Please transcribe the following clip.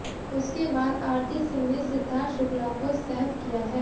उसके बाद आरती सिंह ने सिद्धार्थ शुक्ला को सेफ किया है